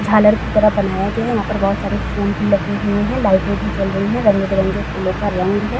झालर की तरह बनाया गया है। यहाँ पर बहुत सारे फूल भी लगे हुए हैं लाइटे भी जल रही है। रंग-बिरंगे फूलों का रंग है।